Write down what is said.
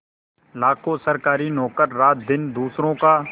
लाखों सरकारी नौकर रातदिन दूसरों का